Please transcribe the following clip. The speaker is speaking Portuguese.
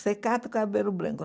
Você cata o cabelo branco.